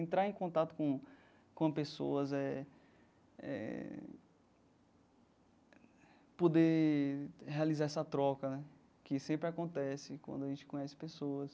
Entrar em contato com com pessoas eh eh, poder realizar essa troca né, que sempre acontece quando a gente conhece pessoas,